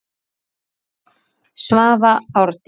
Svava Árdís.